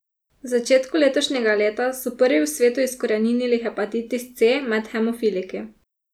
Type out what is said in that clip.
V začetku letošnjega leta so prvi v svetu izkoreninili hepatitis C med hemofiliki.